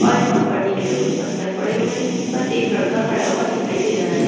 और यहां पर नीचे कुछ पत्थर पड़े हुए हैं जिस पर एक लड़का खड़ा हुआ दिखाई दे रहा है।